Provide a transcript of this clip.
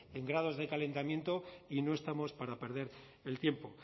en grados de calentamiento y no estamos para perder el tiempo